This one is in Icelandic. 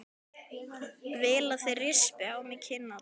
Vil að þeir rispi á mér kinnarnar.